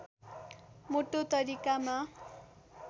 मोटो तरिकामा